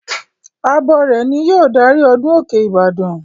Abọrẹ̀ ni yóò darí ọdún òkè ìbàdàn.